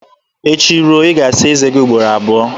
Echi ruo, ị ga-asa eze gị ugboro abụọ